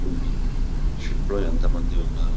మ్మ్ ship లో ఎంత మంది ఉన్నారు.